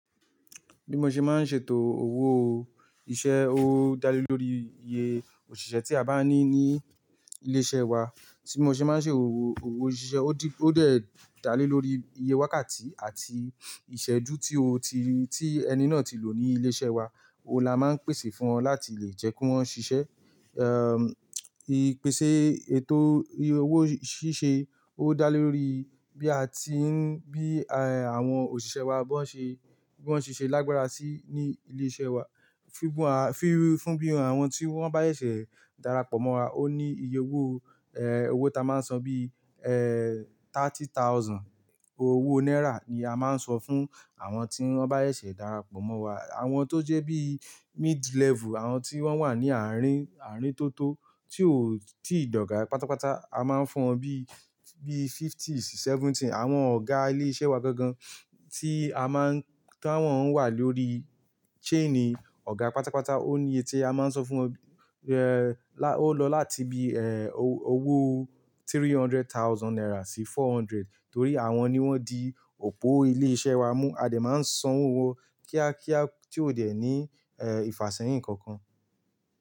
Bí mo ṣe máa ń ṣètò owó, iṣẹ́ owó dá lé lórí iye òṣìṣẹ́ tí a bá ní ní ilé iṣẹ́ wa. Tí mo ṣe máa ń ṣe owó, owó òṣìṣẹ́ ó di ó dẹ dà lé lórí iye wákàtí àti ìṣẹ́jú tí ó ti, tí ẹni náà ti lò ní ilé iṣẹ́ wa, ó là máa ń pèsè fún wọn láti lè jẹ́ kí wọ́n ṣiṣẹ́. Ehn, ìpèsè ètò owó ṣíṣe ó dá lé lórí bí a ti ń, bí, eh, àwọn òṣìṣẹ́ wa bọ ń ṣe, bi wọń ṣiṣẹ́ lágbára sí ní ilé iṣẹ́ wa. Fi bi-- fún bí àwọn tí wọ́n bá ẹ ṣẹ̀ dára pọ̀ mọ́ wa ó ní iye owó, eh, owó ta máa ń san bí, eh, thirty thousand owó náírà ni a máa ń sọ fún àwọn tí wọ́n bá ṣẹ̀ dára pọ̀ mọ́ wa. Àwọn tó jẹ́ bí mid-level, àwọn tí wọ́n wà ní àárín, àárín tó tó tí ò-- tí ì dọ̀gà pátápátá, a máa ń fún wọn bí, bí fifties, seventy. Àwọn ọ̀gá ilé iṣẹ́ wa gangan tí a má ń-- ta wọ́n wà lórí chain ọ̀gá pátápátá ó ní iye tí a máa ń sọ fún wọn, eh, la ó lọ láti bí, eh, owó three hundred thousand náírà sí four hundred. Torí àwọn ni wọ́n di òpó ilé iṣẹ́ wa mú. A dẹ̀ máa ń san owó wọn kíákíá tí ó dẹ̀ ní, eh, ìfàsẹ́yìn kankan.